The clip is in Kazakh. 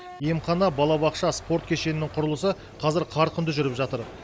емхана балабақша спорт кешенінің құрылысы қазір қарқынды жүріп жатыр